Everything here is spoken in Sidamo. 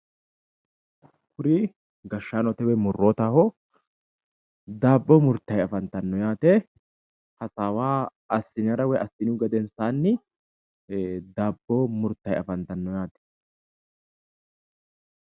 Kuri leelittanni noonkeri mootimmate gashaanoti murittanni nooti dabbote iseno hasaawu hanfara albaani mannu qamasara qixxeesinonnitta leelishannote